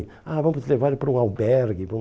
Ah, vamos levar ele para um albergue. Para um